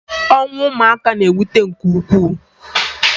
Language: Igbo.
Ọnwụ ụmụaka na-ewute nke ukwuu